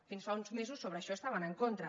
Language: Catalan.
fins fa uns mesos sobre això estaven en contra